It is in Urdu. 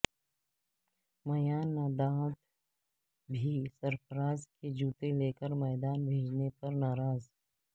میانداد بھی سرفراز کے جوتے لیکر میدان بھیجنے پر ناراض